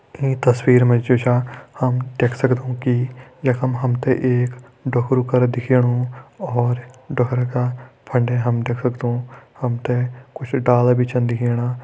ईं तस्वीर मा जु छा हम देख सक्दों कि यखम हम ते एक ढोकरु करा दिखेणु और ढोकरा का फंडे हम देख सक्दों हम ते कुछ डाला भी छन दिखेणा।